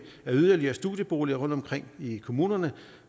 af yderligere studieboliger rundtomkring i kommunerne